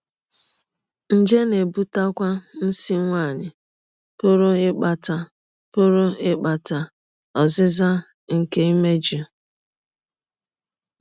Nje na - ebụtekwa nsí nwanyị pụrụ ịkpata pụrụ ịkpata ọzịza nke imejụ.